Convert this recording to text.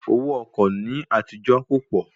Owó ọkọ̀ ní àtijó kò pọ̀